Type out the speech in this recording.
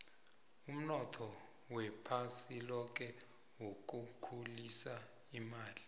umnotho wephasi loke wokukhulisa imali